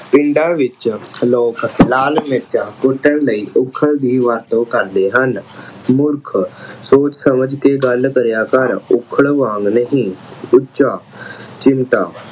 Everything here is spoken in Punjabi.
ਪਿੰਡਾਂ ਵਿੱਚ ਲੋਕ ਲਾਲ ਮਿਰਚਾਂ ਕੁੱਟਣ ਲਈ ਉੱਖਲ ਦੀ ਵਰਤੋਂ ਕਰਦੇ ਹਨ। ਮੂਰਖ ਸੋਚ ਸਮਝ ਕੇ ਗੱਲ ਕਰਿਆ ਕਰ ਉੱਖਲ ਵਾਂਗ ਨਹੀਂ। ਉੱਚਾ ਚਿਮਟਾ